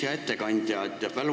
Hea ettekandja!